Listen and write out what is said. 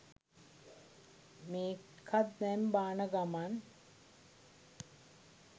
මේකත් දැන් බාන ගමන්